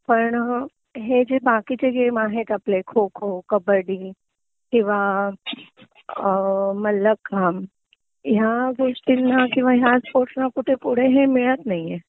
पण हे जे बाकीचे गेम आहेत आपले खो खो कब्बडी किंवा अ मल्लखांब ह्या गोष्टींना किंवा ह्या सोर्स ना पुढे हे मिळत नाहीए